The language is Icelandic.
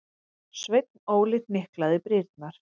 Sveinn Óli hnyklaði brýnnar.